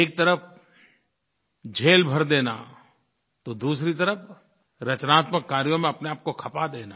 एक तरफ़ जेल भर देना तो दूसरी तरफ़ रचनात्मक कार्यों में अपने आप को खपा देना